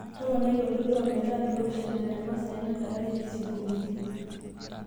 toponai oltoilo ometaa oliopishana temasaai nadalareki isingolioitin